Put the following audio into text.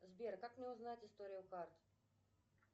сбер как мне узнать историю карт